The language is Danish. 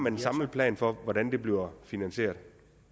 en samlet plan for hvordan det bliver finansieret